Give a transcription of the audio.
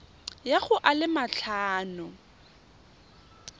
ya go a le matlhano